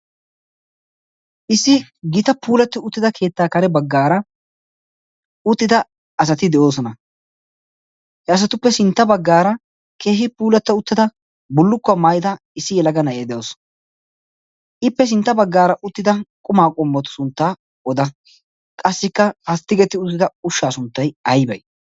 issi gita puulatti uttida keettaa kare baggaara uttida asati de'oosona he asatuppe sintta baggaara keehi puulatta uttida bollukkuwaa maayida issi yalagana ee de'oson ippe sintta baggaara uttida qumaa qommotu sunttaa oda qassikka ha tigeti uttida ushshaa sunttay aybay